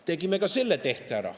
Tegime ka selle tehte ära.